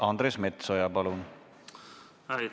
Andres Metsoja, palun!